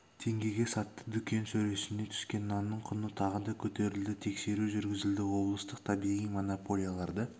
теңгеге сатты дүкен сөресіне түскен нанның құны тағы да көтерілді тексеру жүргізілді облыстық табиғи монополияларды